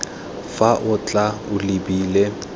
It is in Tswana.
fa o tla o lebile